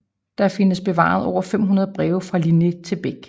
Der findes bevaret over 500 breve fra Linné til Bäck